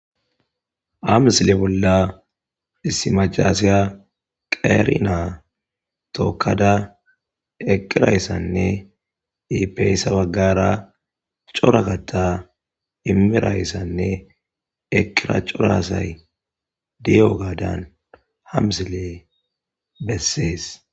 amsile bolla issimacasiya qeerina tokkada eqqirayssanne iipeyssa baggara cora katta imirayssanne ekira corasay diyo gaadan hamsile bessees